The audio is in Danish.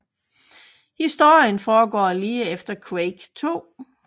Historien foregår lige efter Quake II